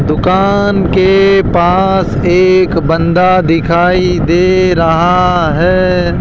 दुकान के पास एक बंदा दिखाई दे रहा है।